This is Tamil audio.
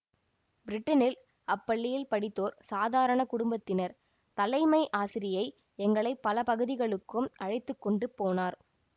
பிரிட்டனில் அப் பள்ளியில் படித்தோர் சாதாரண குடும்ப தினர் தலைமை ஆசிரியை எங்களை பல பகுதிகளுக்கும் அழைத்து கொண்டு போனார்